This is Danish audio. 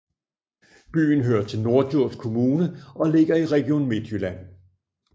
Byen hører til Norddjurs Kommune og ligger i Region Midtjylland